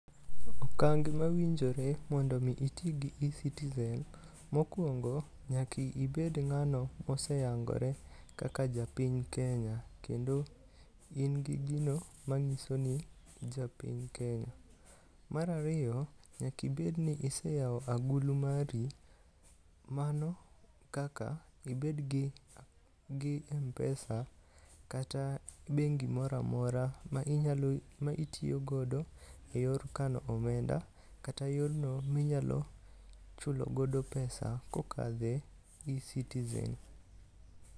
Okange mawinjore mondo mi iti gi eCitizen mokuongo nyaka ibed ng'ano moyangore kaka japiny Kenya kendo in gi gino manyiso ni in ja piny Kenya. Nyaka ibedi ni iseyawo agulu mari, mano kaka ibed gi m-pesa kata bengi moro amora ma itiyo godo eyor kano omenda kata yorno minyalo chulo godo [cs6 pesa kokadho e eCitizen.